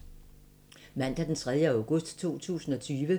Mandag d. 3. august 2020